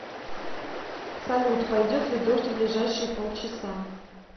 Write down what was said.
салют пойдет ли дождь в ближайшие пол часа